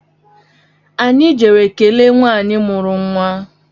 Anyị jere kelee nwanyị mụrụ nwa